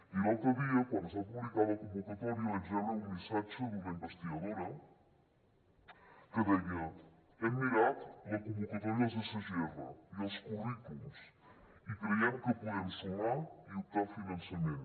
i l’altre dia quan es va publicar la convocatòria vaig rebre un missatge d’una investigadora que deia hem mirat la convocatòria dels sgr i els currículums i creiem que podem sumar i optar a finançament